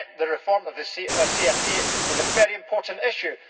Yet the reform of the CFP is a very important issue.